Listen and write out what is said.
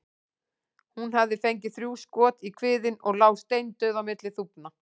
Hún hafði fengið þrjú skot í kviðinn og lá steindauð á milli þúfna.